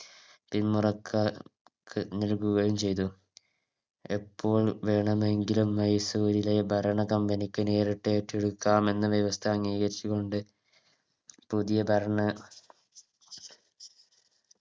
പിന്മുറക്ക ക് നൽകുകയും ചെയ്തു എപ്പോൾ വേണമെങ്കിലും മൈസൂരിലെ ഭരണ Company ക്ക് നേരിട്ടേറ്റെടുക്കാം എന്ന വ്യവസ്ഥ അംഗീകരിച്ചു കൊണ്ട് പുതിയ ഭരണ